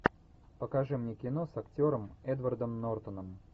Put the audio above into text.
покажи мне кино с актером эдвардом нортоном